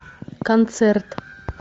концерт